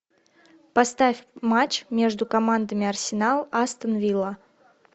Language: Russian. поставь матч между командами арсенал астон вилла